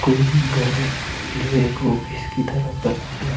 कोई घर है जो एक ऑफिस की तरह बना हुआ--